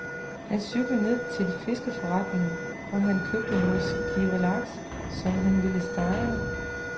Han cyklede ned til fiskeforretningen, hvor han købte nogle skiver laks, som han ville stege.